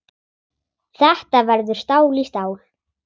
Þetta verður stál í stál.